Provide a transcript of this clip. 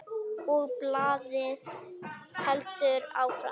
Og blaðið heldur áfram